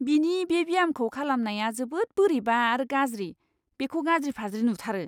बिनि बे ब्यामखौ खालामनाया जोबोद बोरैबा आरो गाज्रि, बेखौ गाज्रि फाज्रि नुथारो।